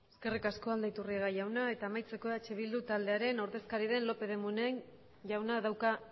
eskerrik asko aldaiturriaga jauna eta amaitzeko eh bildu taldearen ordezkari den lópez de munain jauna dauka